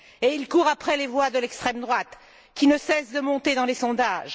Et il court après les voix de l'extrême droite, qui ne cesse de monter dans les sondages.